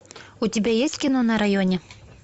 у тебя есть кино на районе